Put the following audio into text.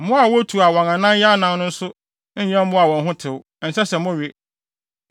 “ ‘Mmoawa a wotu a wɔn anan yɛ anan no nso nyɛ mmoa a wɔn ho tew; ɛnsɛ sɛ mowe.